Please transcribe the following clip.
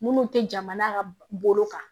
Minnu tɛ jamana ka bolo kan